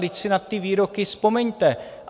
Vždyť si na ty výroky vzpomeňte.